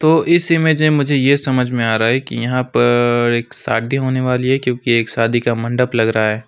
इस इमेज में मुझे यह समझ में आ रहा है कि यहां पर एक शादी होने वाली है क्योंकि एक शादी का मंडप लग रहा है।